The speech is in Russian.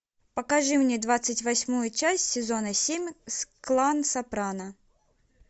покажи мне двадцать восьмую часть сезона семь клан сопрано